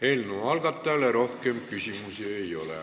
Eelnõu algatajale rohkem küsimusi ei ole.